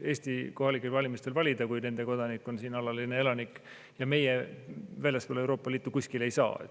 Eesti kohalikel valimistel valida, kui nende kodanik on siin alaline elanik, ja meie väljaspool Euroopa Liitu kuskil ei saa.